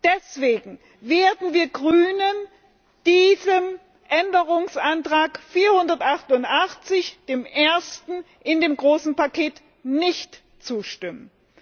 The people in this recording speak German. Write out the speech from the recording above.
Deshalb werden wir als Grüne diesem Änderungsantrag 488, dem ersten in dem großen Paket, nicht zustimmen.